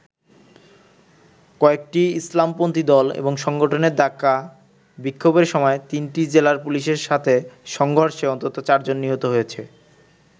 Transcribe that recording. কয়েকটি ইসলামপন্থী দল এবং সংগঠনের ডাকা বিক্ষোভের সময় তিনটি জেলায় পুলিশের সাথে সংঘর্ষে অন্তত চারজন নিহত হয়েছে।